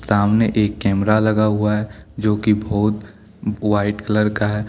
सामने एक कैमरा लगा हुआ है जो की बहुत व्हाइट कलर का है।